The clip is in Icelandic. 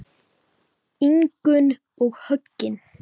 Ingunn og Högni.